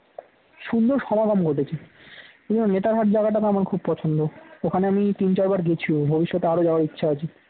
সুন্দর সমাগম ঘটেছে এবার নেতারহাট জায়গাটা তো আমার খুব পছন্দ। ওখানে আমি তিন চার বার গেছি ও ভবিষ্যতে আরো যাওয়ার ইচ্ছে আছে